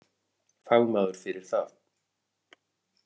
Fagmaður fyrir það.